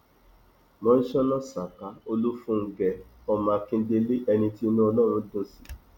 mọńsóná saka olùfúngẹ ọmọ akíndélé ẹni tí inú ọlọrun dùn sí